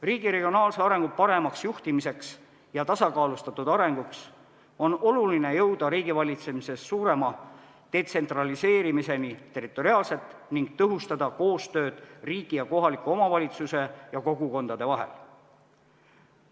Riigi regionaalse arengu paremaks juhtimiseks ja tasakaalustatud arenguks on oluline jõuda riigivalitsemises suurema detsentraliseerimiseni territoriaalselt ning tõhustada koostööd riigi ja kohaliku omavalitsuse ja kogukondade vahel.